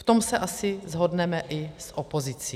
V tom se asi shodneme i s opozicí.